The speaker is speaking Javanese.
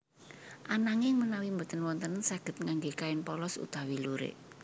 Ananging menawi boten wonten saged ngangge kain polos utawi lurik